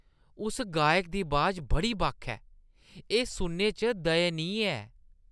उस गायक दी अबाज बड़ी बक्ख ऐ। एह् सुनने च दयनीय ऐ।